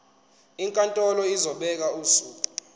inkantolo izobeka usuku